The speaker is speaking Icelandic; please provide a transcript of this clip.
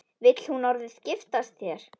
Vill hún orðið giftast þér?